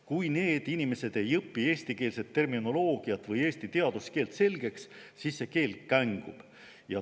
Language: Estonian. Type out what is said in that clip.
Kui need inimesed ei õpi eestikeelset terminoloogiat või eesti teaduskeelt selgeks, siis see keel kängub.